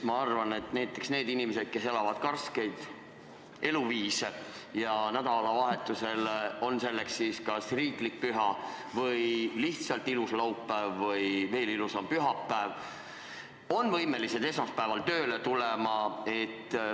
Ma arvan, et näiteks need inimesed, kes elavad karskelt, on võimelised esmaspäeval tööle tulema, olgu nädalavahetusel kas riiklik püha või lihtsalt ilus laupäev või veel ilusam pühapäev.